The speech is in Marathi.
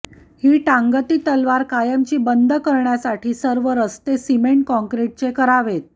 ही टांगती तलवार कायमची बंद करण्यासाठी सर्व रस्ते सिमेंट काँक्रिटचे करावेत